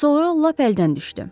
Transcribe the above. Sonra lap əldən düşdü.